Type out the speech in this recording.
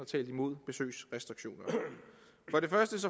talt imod besøgsrestriktioner